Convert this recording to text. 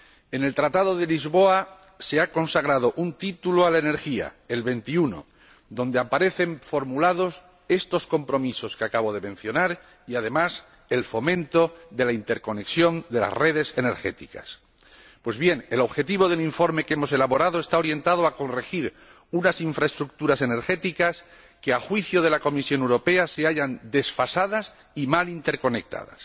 En el Tratado de Lisboa se ha consagrado un título a la energía, el XXI, donde aparecen formulados estos compromisos que acabo de mencionar y, además, el fomento de la interconexión de las redes energéticas. Pues bien, el objetivo del informe que hemos elaborado está orientado a corregir unas infraestructuras energéticas que, a juicio de la Comisión Europea, se hallan desfasadas y mal interconectadas.